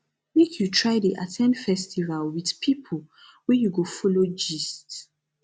make you try dey at ten d festival wit pipo wey you go folo gist